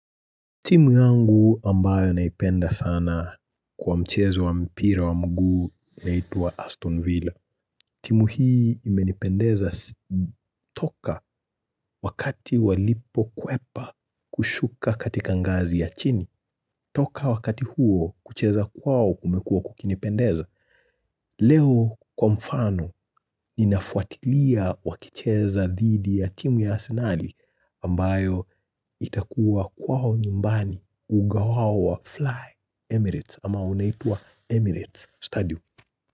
Timu yangu ambayo naipenda sana kwa mchezo wa mpira wa mguu inaitwa Aston Villa. Timu hii imenipendeza toka wakati walipokwepa kushuka katika ngazi ya chini. Toka wakati huo kucheza kwao kumekua kukinipendeza. Leo kwa mfano ninafuatilia wakicheza dhidi ya timu ya Asinali ambayo itakuwa kwao nyumbani uga wao wa Fly Emirates ama unaitwa Emirates Stadium.